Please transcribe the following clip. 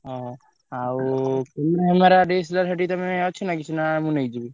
ହଁ। ଆଉ ସେଠି ତମେ ଅଛ ନା କିଛି ନା ମୁଁ ନେଇଯିବି?